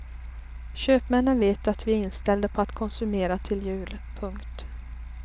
Köpmännen vet att vi är inställda på att konsumera till jul. punkt